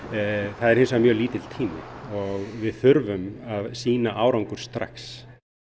það er hins vegar mjög lítill tími og við þurfum að sýna árangur strax